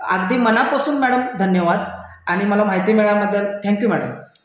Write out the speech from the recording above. अगदी मनापासून मॅडम धन्यवाद तुम्ही माहिती दिली त्याबद्दल धन्यवाद मॅडम